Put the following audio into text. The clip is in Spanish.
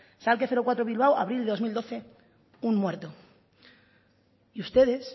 schalke cuatro bilbao abril del dos mil doce un muerto y ustedes